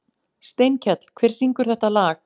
Steinkell, hver syngur þetta lag?